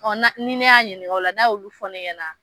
Ɔn na ni ne y'a ɲininka o la n'a y'olu fɔ ne ɲɛna